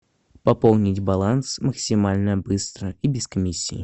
пополнить баланс максимально быстро и без комиссии